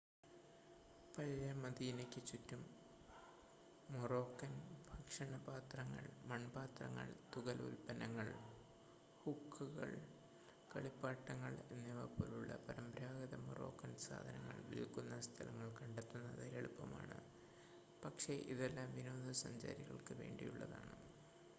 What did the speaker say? പഴയ മദീനയ്ക്ക് ചുറ്റും മോറോക്കാൻ ഭക്ഷണപാത്രങ്ങൾ മൺപാത്രങ്ങൾ തുകൽ ഉൽപ്പന്നങ്ങൾ ഹുക്കകൾ കളിപ്പാട്ടങ്ങൾ എന്നിവ പോലുള്ള പരമ്പരാഗത മൊറോക്കൻ സാധനങ്ങൾ വിൽക്കുന്ന സ്ഥലങ്ങൾ കണ്ടെത്തുന്നത് എളുപ്പമാണ് പക്ഷേ ഇതെല്ലാം വിനോദസഞ്ചാരികൾക്ക് വേണ്ടിയുള്ളതാണ്